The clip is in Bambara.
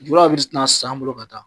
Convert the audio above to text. Julaw be na san anw bolo ka taa.